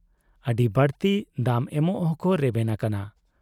ᱟᱹᱰᱤ ᱵᱟᱲᱛᱤ ᱫᱟᱢ ᱮᱢᱚᱜ ᱦᱚᱸᱠᱚ ᱨᱮᱵᱮᱱ ᱟᱠᱟᱱᱟ ᱾